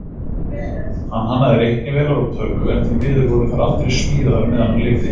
Hann hannaði reiknivélar og tölvu, en því miður voru þær aldrei smíðaðar meðan hann lifði.